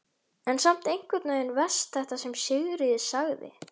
En samt einhvern veginn verst þetta sem Sigríður sagði.